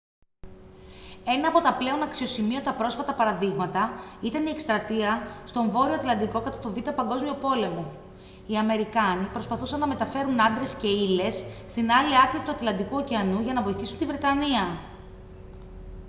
ένα από τα πλέον αξιοσημείωτα πρόσφατα παραδείγματα ήταν η εκστρατεία στον βόρειο ατλαντικό κατά τον β΄ παγκόσμιο πόλεμο. οι αμερικάνοι προσπαθούσαν να μεταφέρουν άντρες και ύλες στην άλλη άκρη του ατλαντικού ωκεανού για να βοηθήσουν τη βρετανία